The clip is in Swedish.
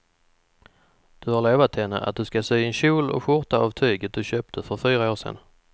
Du har lovat henne att du ska sy en kjol och skjorta av tyget du köpte för fyra år sedan.